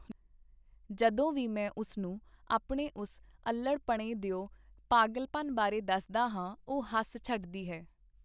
ਜਦੋਂ ਵੀ ਮੈਂ ਉਸ ਨੂੰ ਆਪਣੇ ਉਸ ਅਲ੍ਹੜਪਣੇ ਦਿਓ ਪਾਗਲਪਨ ਬਾਰੇ ਦਸਦਾ ਹਾਂ, ਉਹ ਹੱਸ ਛਡਦੀ ਹੈ.